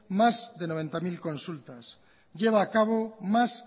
más de noventa mil consultas lleva a cabo más